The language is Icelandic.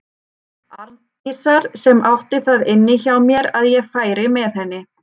Arndísar sem átti það inni hjá mér að ég færi með henni.